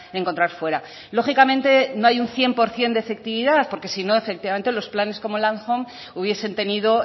encontrar fuera lógicamente no hay un cien por ciento de efectividad porque si no efectivamente los planes como landhome hubiesen tenido